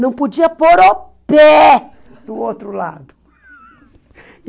Não podia pôr o pé do outro lado.